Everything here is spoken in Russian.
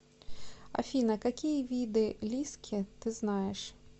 афина какие виды лиски ты знаешь